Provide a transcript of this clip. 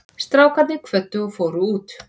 Strákarnir kvöddu og fóru út.